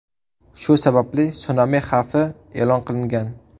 Shu sababli sunami xavfi e’lon qilingan.